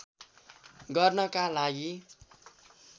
गर्नका लागि